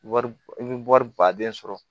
Wari i bɛ wari baden sɔrɔ